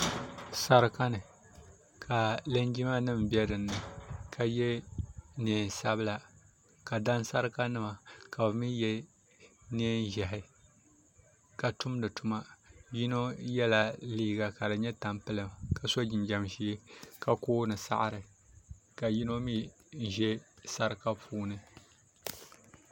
sarakani ka linjima nim bɛ dini ka yɛ nɛnsabila ka danisarika nim mi yɛ nɛnʒiɛhi ka tumdituma yɛno yɛla liga ka di nyɛ tampilim ka so jinjam ʒiɛ ka kooni saɣiri ka yɛno mi ʒɛ sarika puuni